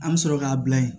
An bɛ sɔrɔ k'a bila yen